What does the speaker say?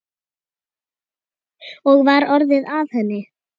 Og var orðið að henni?